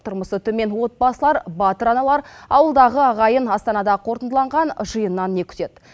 тұрмысы төмен отбасылар батыр аналар ауылдағы ағайын астанада қорытындыланған жиыннан не күтеді